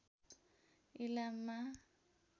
इलाममा